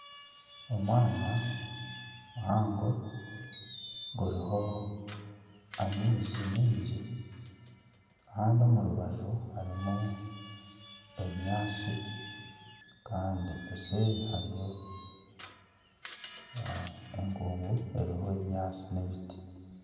Omwanya muhango guriho amaizi mingi kandi omu rubaju harimu ebinyaatsi kandi eseeri hariyo enkuugu eriho ebinyaatsi n'ebiti.